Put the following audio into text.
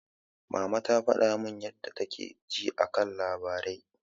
Mama ta faɗa min yadda take ji a kan labarai.